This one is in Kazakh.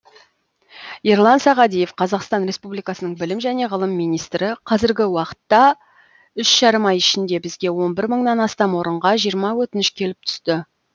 ерлан сағадиев қазақстан республикасының білім және ғылым министрі қазіргі уақытта үш жарым ай ішінде бізге он бір мыңнан астам орынға жиырма өтініш келіп түсті